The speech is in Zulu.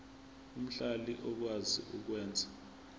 omhlali okwazi ukwenza